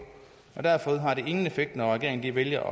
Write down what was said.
og derfor har det ingen effekt når regeringen vælger